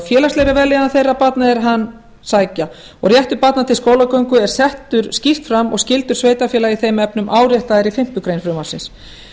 félagslegri vellíðan þeirra barna er hann sækja og réttur barna til skólagöngu er settur skýrt fram og skyldur sveitarfélaga í þeim efnum áréttaðar í fimmtu grein frumvarpsins